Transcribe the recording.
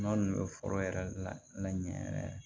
N'a ninnu bɛ foro yɛrɛ la ɲɛ yɛrɛ